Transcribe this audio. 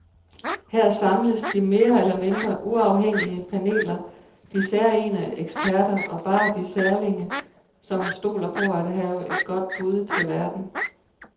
Her samles de mere eller mindre uafhængige paneler, de særegne eksperter og bare de særlinge, som stoler på at have et godt bud til verden.